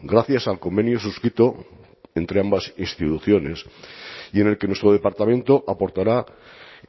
gracias al convenio suscrito entre ambas instituciones y en el que nuestro departamento aportará